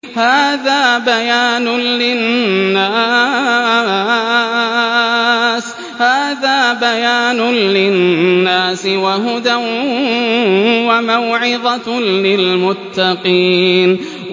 هَٰذَا بَيَانٌ لِّلنَّاسِ وَهُدًى وَمَوْعِظَةٌ لِّلْمُتَّقِينَ